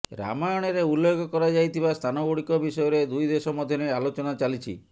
ରାମାୟଣରେ ଉଲ୍ଲେଖ କରାଯାଇଥିବା ସ୍ଥାନଗୁଡିକ ବିଷୟରେ ଦୁଇ ଦେଶ ମଧ୍ୟରେ ଆଲୋଚନା ଚାଲିଛି